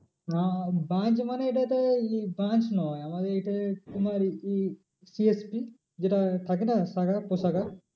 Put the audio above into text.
branch মানে এটা একটা branch নয় আমাদের এইটা তোমার যেটা থাকে না শাখা উপশাখা